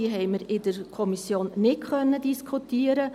Diese konnten wir in der Kommission nicht diskutieren.